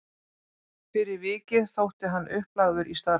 Fyrir vikið þótti hann upplagður í starfið.